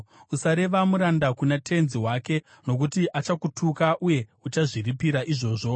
“Usareva muranda kuna tenzi wake, nokuti achakutuka, uye uchazviripira izvozvo.